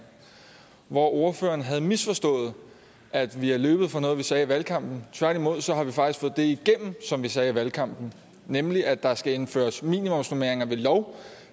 hvor ordføreren havde misforstået at vi er løbet fra noget vi sagde i valgkampen tværtimod har vi faktisk fået det igennem som vi sagde i valgkampen nemlig at der skal indføres minimumsnormeringer ved lov